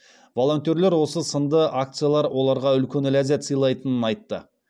волонтерлер осы сынды акциялар оларға үлкен ләззат сыйлайтынын айтты